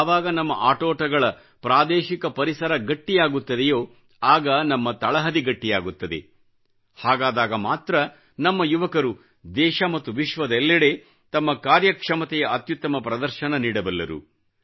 ಯಾವಾಗ ನಮ್ಮ ಆಟೋಟಗಳ ಪ್ರಾದೇಶಿಕ ಪರಿಸರ ಗಟ್ಟಿಯಾಗುತ್ತದೆಯೋ ಆಗ ನಮ್ಮ ತಳಹದಿ ಗಟ್ಟಿಯಾಗುತ್ತದೆಹಾಗಾದಾಗ ಮಾತ್ರ ನಮ್ಮ ಯುವಕರು ದೇಶ ಮತ್ತು ವಿಶ್ವದೆಲ್ಲೆಡೆ ತಮ್ಮ ಕಾರ್ಯಕ್ಷಮತೆಯ ಅತ್ಯುತ್ತಮ ಪ್ರದರ್ಶನ ನೀಡಬಲ್ಲರು